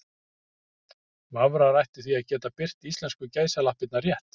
Vafrar ættu því að geta birt íslensku gæsalappirnar rétt.